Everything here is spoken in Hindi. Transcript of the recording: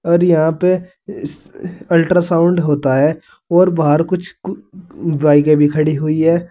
और यहां पे स अल्ट्रासाउंड होता है और बाहर कुछ बाइके भी खड़ी हुई है।